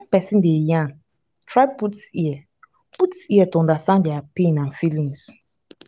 when person dey yarn try put ear put ear to understand their pain and feelings